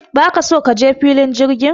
Don't you want to go to the airport?